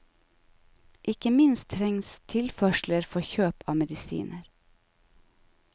Ikke minst trengs tilførsler for kjøp av medisiner.